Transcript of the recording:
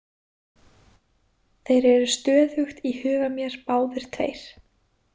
Þeir eru stöðugt í huga mér báðir tveir.